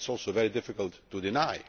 That is also very difficult to deny.